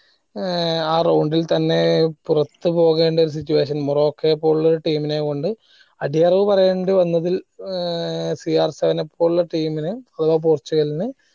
ഏർ ആ round ഇത് തന്നെ പുറത്തു പോകേണ്ട ഒരു situation മൊറോക്കയെ പോലുള്ള ഒരു team നേം കൊണ്ട് അടിയറവ് പോകേണ്ടി വന്നതി CR7 നെ പോലുള്ള team നു അഥവാ പോർച്ചുഗലിന്